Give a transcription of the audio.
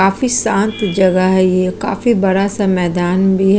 काफी शांत जगह है ये काफी बड़ा-सा मैदान भी है।